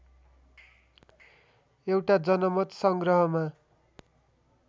एउटा जनमत संग्रहमा